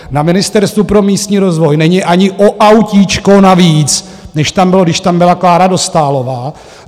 Na Ministerstvu pro místní rozvoj není ani o autíčko navíc, než tam bylo, když tam byla Klára Dostálová.